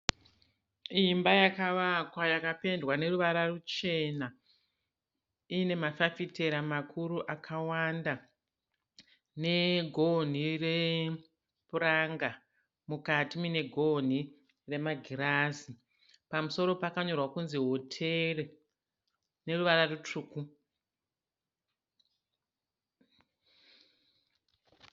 Imba yakavakwa yakapendwa neruvara ruchena. Iine mafafitera makuru akawanda negonhi repuranga mukati muine gonhi remagirazi. Pamusoro pakanyorwa kuti hotere neruvara rutsvuku.